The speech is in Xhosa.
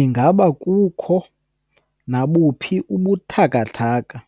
Ingaba kukho nabuphi ubuthathaka